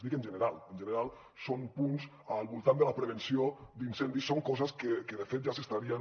dic en general en general són punts al voltant de la prevenció d’incendis són coses que de fet ja s’estarien